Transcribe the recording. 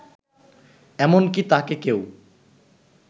এমনকি তাকে কেউ